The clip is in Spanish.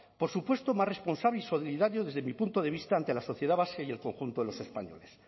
por supuesto más responsable y solidario desde mi punto de vista ante la sociedad vasca y el conjunto de los españoles